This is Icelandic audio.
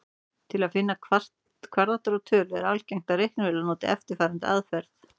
Til að finna kvaðratrót tölu er algengt að reiknivélar noti eftirfarandi aðferð.